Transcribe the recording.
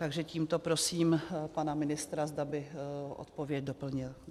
Takže tímto prosím pana ministra, zda by odpověď doplnil.